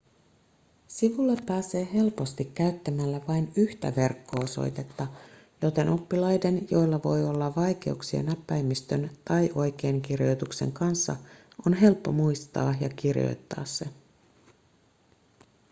sivulle pääsee helposti käyttämällä vain yhtä verkko-osoitetta joten oppilaiden joilla voi olla vaikeuksia näppäimistön tai oikeinkirjoituksen kanssa on helppo muistaa ja kirjoittaa se